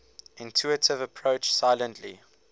intuitive approach silently